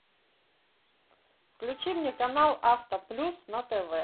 включи мне канал авто плюс на тв